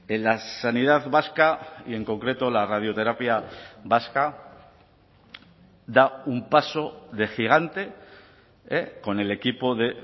en la sanidad vasca y en concreto la radioterapia vasca da un paso de gigante con el equipo de